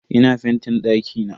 Ina fentin dakina.